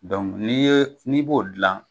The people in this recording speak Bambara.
n'i ye n'i b'o dilan,